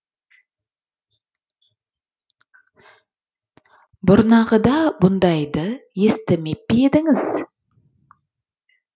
бұрнағыда бұндайды естімеп пе едіңіз